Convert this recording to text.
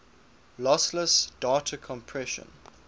lossless data compression